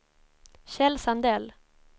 Kjell Sandell